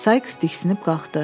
Sayks diksinib qalxdı.